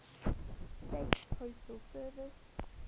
states postal service